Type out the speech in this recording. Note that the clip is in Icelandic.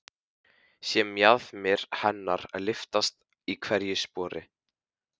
Sé mjaðmir hennar lyftast í hverju spori.